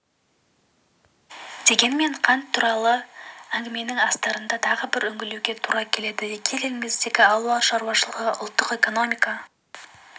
дегенмен қант туралы әңгіменің астарына тағы бір үңілуге тура келеді егер еліміздің ауыл шаруашылығы ұлттық экономика